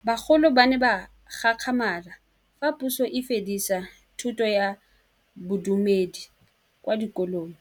Bagolo ba ne ba gakgamala fa Pusô e fedisa thutô ya Bodumedi kwa dikolong.